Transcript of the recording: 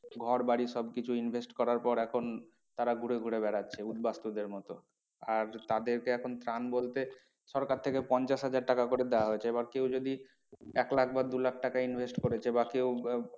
ঘর বাড়ি সব কিছু invest করার পর এখন তারা ঘুরে ঘুরে বেড়াচ্ছে উদ্বাস্তুদের মতো। আর তাদেরকে এখন ত্রাণ বলতে সরকার থেকে পঞ্চাশ হাজার টাকা করে দেওয়া হয়েছে। এবার কেউ যদি এক লাখ বা দু লাখ টাকা invest করেছে এবার কেউ